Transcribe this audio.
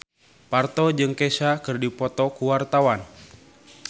Parto jeung Kesha keur dipoto ku wartawan